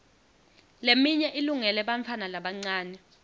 leminye ilungele bantfwana labancane